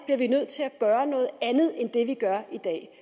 bliver vi nødt til at gøre noget andet end det vi gør i dag